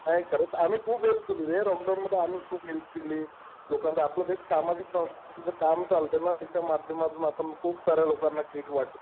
हा हे खरंच. आम्ही खूप हेल्प केली रे. लॉक डाऊन मध्ये आम्ही खूप हेल्प केली लोकांना. आपलं जे सामाजिक संस्थेचं काम चालतंय ना त्याच्या माध्यमातून खूप साऱ्या लोकांना किट वाटल्या